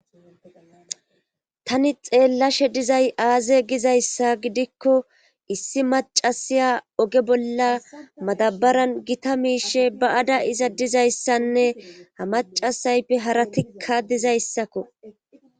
Tani xeellashe dizay aaze gizayssa gidikko issi macasiya oge bolla madabaran gita miishe ba ada iza dizayssanne ha macasayppe haratikka dizayssakko